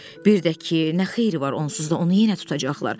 Birdə ki, nə xeyri var onsuz da onu yenə tutacaqlar.